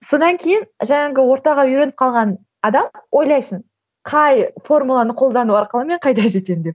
содан кейін жаңағы ортаға үйреніп қалған адам ойлайсың қай формуланы колдану арқылы мен қайда жетемін деп